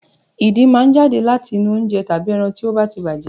Ìdin máa ń jáde láti inú oúnjẹ tàbí ẹran tí ó ba ti bàjẹ́